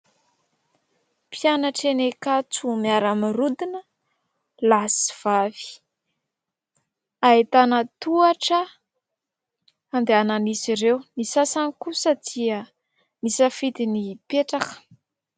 Mpianatra eny Ankatso, miara mirodona, lahy sy vavy. Ahitana tohatra andehanan'izy ireo ; ny sasany kosa dia nisafidy ny hipetraka.